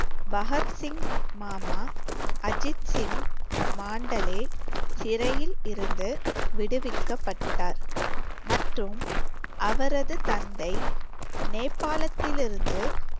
பகத்சிங் மாமா அஜித் சிங் மாண்டலே சிறையில் இருந்து விடுவிக்கப்பட்டார் மற்றும் அவரது தந்தை நேபாளத்தில் இருந்து